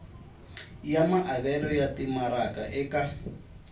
ya maavelo ya timaraka eka